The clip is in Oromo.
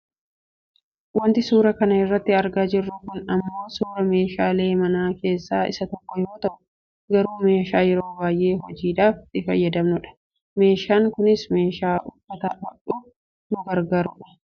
Wanti suuraa kana irratti argaa jirru kun ammoo suuraa meeshaa manaa keessaa isa tokko yoo ta'u garuu meeshaa yeroo baayyee hojiidhaaf itti fayyadamnudha meeshaan kunis meeshaa uffata hodhuuf nu garagaarudha.